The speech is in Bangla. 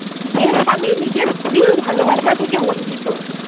যে স্বামী নিজের স্ত্রীর ভালোবাসা থেকে বঞ্চিত।